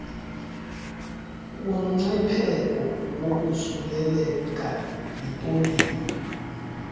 kumngcipheko wokosuleleka yipoliyo